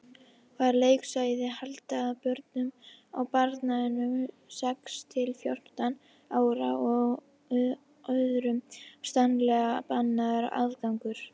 Var leiksvæðið ætlað börnum á aldrinum sex til fjórtán ára og öðrum stranglega bannaður aðgangur.